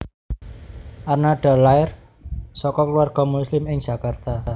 Arnada lair saka keluarga Muslim ing Jakarta